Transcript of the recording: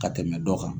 Ka tɛmɛ dɔ kan